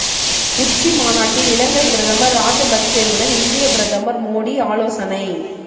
உச்சி மாநாட்டில் இலங்கை பிரதமர் ராஜபக்சேவுடன் இந்திய பிரதமர் மோடி ஆலோசனை